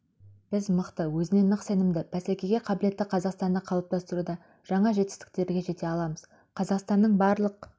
біз мықты өзіне нық сенімді бәсекеге қабілетті қазақстанды қалыптастыруда жаңа жетістіктерге жете аламыз қазақстанның барлық